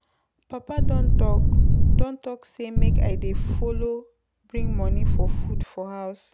Papa don talk don talk sey make I dey folo bring money for food for house.